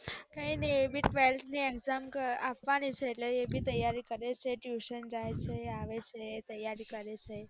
કાય નાય અબી અત્યારે ત્વેલ્થ ની exam આપવાની છે એટલે એ બી તૈયારી કરે છે tuition જાય છે આવે છે